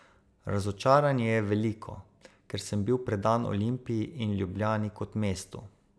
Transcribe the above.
Razočaranje je veliko, ker sem bil predan Olimpiji in Ljubljani kot mestu.